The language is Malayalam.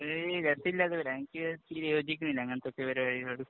അത് ഗട്ട്സില്ലാത്തവരാ. എനിക്ക് ഇച്ചിരി യോജിക്കുന്നില്ല അങ്ങനത്തെയൊക്കെ പരിപരിപാടികളോട്.